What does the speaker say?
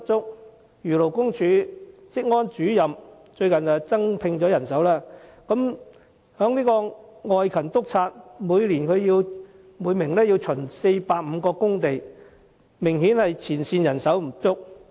例如，勞工處職安主任近日已增聘人手，但現時每名外勤督察一年要巡查450個工地，前線人手明顯不足。